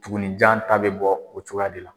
Tugunninjan ta bɛ bɔ o cogoya de la